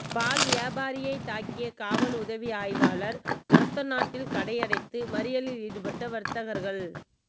பால் வியாபாரியைத் தாக்கிய காவல் உதவி ஆய்வாளா்ஒரத்தநாட்டில் கடையடைத்து மறியலில் ஈடுபட்ட வா்த்தகா்கள்